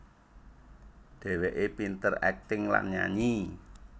Dheweke pinter akting lan nyanyi